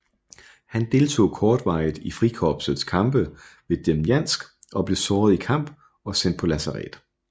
Han deltog kortvarigt i Frikorpsets kampe ved Demjansk og blev såret i kamp og sendt på lazaret